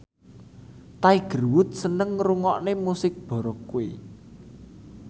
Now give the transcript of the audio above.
Tiger Wood seneng ngrungokne musik baroque